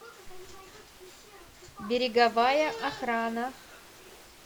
береговая охрана